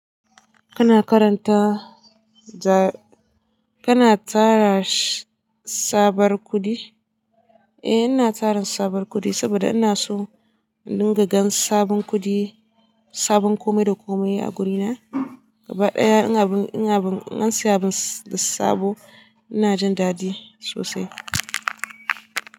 Kana karanta ja- kana tara tsabar kuɗi? Eh, ina tara sabon kuɗi sabida ina so in dinga gan sabon kuɗi, sabon komai da komai a guri na. Gaba ɗaya in abin, in abin, in an saya abun da sabo ina jin daɗi sosai.